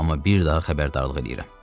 Amma bir daha xəbərdarlıq eləyirəm.